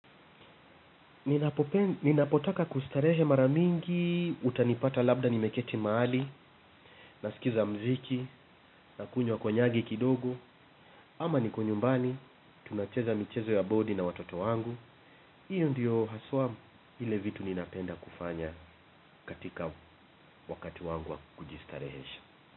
Ninapotaka kustarehe mara mingi, utanipata labda nimeketi mahali, nasikiza muziki, nakunywa konyagi kidogo. Ama niko nyumbani, tunacheza michezo ya bodi na watoto wangu. Hiyo ndiyo haswa vile vitu ninapenda kufanya katika wakati wangu wa kujistarehesha.